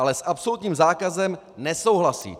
Ale s absolutním zákazem nesouhlasí.